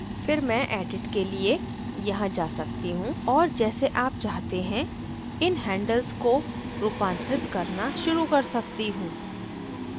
फिर मैं edit के लिए यहाँ जा सकती हूँ और जैसे आप चाहते हैं इन handles को रूपांतरित करना शुरू कर सकती हूँ